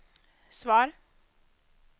svar